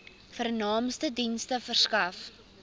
vernaamste dienste verskaf